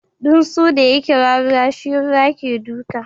Tunsu da ya kira ruwa shi ruwa ke duka.